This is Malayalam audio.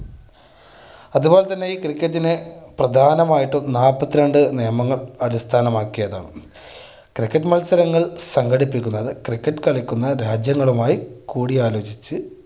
അത് പോലെ തന്നെ ഈ cricket നെ പ്രധാനമായിട്ടും നാല്പ്പത്തിരണ്ട് നിയമങ്ങൾ അടിസ്ഥാനമാക്കിയതാണ്. cricket മത്സരങ്ങൾ സംഘടിപ്പിക്കുന്നത് cricket കളിക്കുന്ന രാജ്യങ്ങളുമായി കൂടിയാലോചിച്ച്